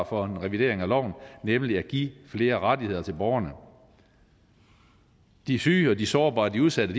for en revidering af loven nemlig at give flere rettigheder til borgerne de syge de sårbare og de udsatte